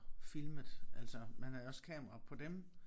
Filmet altså man havde også kamera på dem